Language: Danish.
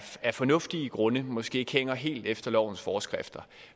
af fornuftige grunde måske ikke hænger helt efter lovens forskrifter